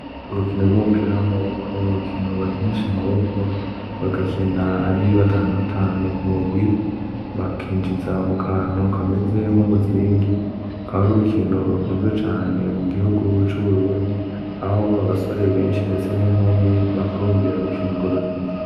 Urukino rw'umupira w'amaboko, urukino bakinisha amaboko bagakina ari batanu batanu ku mugwi, bakinjiza mu kantu kameze nk'umuzingi. Rukaba ari urukino rukunzwe cane mu gihugu c'Uburundi, aho abasore benshi ndetse n'inkumi bahurumbira gukina urwo rukino.